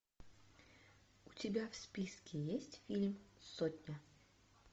у тебя в списке есть фильм сотня